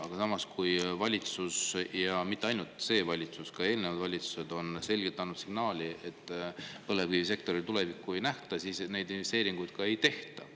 Aga samas valitsus – ja mitte ainult see valitsus, ka eelnevad valitsused – on selgelt andnud signaali, et kui põlevkivisektoril tulevikku ei nähta, siis neid investeeringuid ka ei tehta.